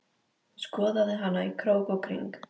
Skoðaði hana í krók og kring.